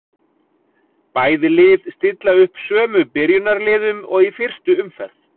Bæði lið stilla upp sömu byrjunarliðum og í fyrstu umferð.